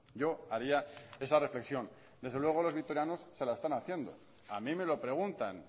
yo haría esa reflexión desde luego los vitorianos se la están haciendo a mí me lo preguntan